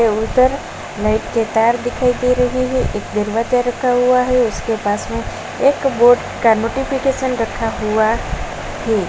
के ऊपर नेट के तार दिखाई दे रही है। एक दरवाजा रखा हुआ है। उसके पास में एक बोर्ड का नोटिफिकेशन रखा हुआ है।